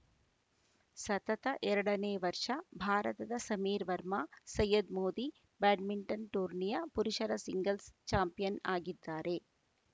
ಸತತ ಎರಡನೇ ವರ್ಷ ಭಾರತದ ಸಮೀರ್‌ ವರ್ಮಾ ಸಯ್ಯದ್‌ ಮೋದಿ ಬ್ಯಾಡ್ಮಿಂಟನ್‌ ಟೂರ್ನಿಯ ಪುರುಷರ ಸಿಂಗಲ್ಸ್‌ ಚಾಂಪಿಯನ್‌ ಆಗಿದ್ದಾರೆ